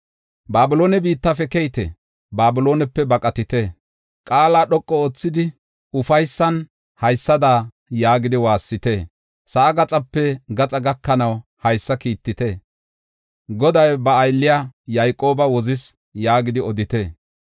Babiloone biittafe keyite; Babiloonepe baqatite! Qaala dhoqu oothidi, ufaysan haysada yaagidi waassite. Sa7aa gaxape gaxa gakanaw haysa kiittite; “Goday ba aylliya Yayqooba wozis” yaagidi odite.